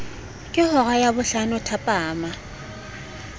ke hora ya bohlano thapama